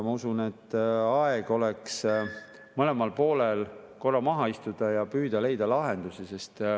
Ma usun, et aeg oleks mõlemal poolel korra maha istuda ja püüda leida lahendusi.